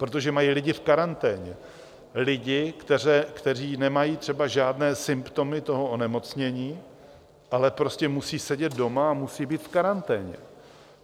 Protože mají lidi v karanténě, lidi, kteří nemají třeba žádné symptomy toho onemocnění, ale prostě musí sedět doma a musí být v karanténě.